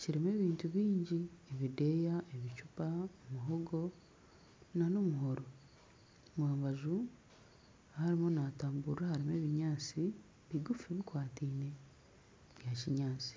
kirimu ebintu bingi ebideeya, ebicupa muhogo nana omuhoro omu rubaju ahu arimu naatamburira harimu ebinyaatsi bigufu bikwataine bya kinyaatsi